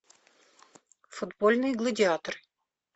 футбольный гладиатор